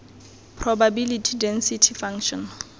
probability density function